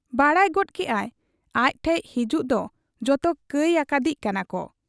ᱵᱟᱰᱟᱭ ᱜᱚᱫ ᱠᱮᱜ ᱟᱭ ᱟᱡ ᱴᱷᱮᱫ ᱦᱮᱡᱩᱜ ᱫᱚ ᱡᱚᱛᱚ ᱠᱟᱹᱭ ᱟᱠᱟᱫᱤᱡ ᱠᱟᱱᱟᱠᱚ ᱾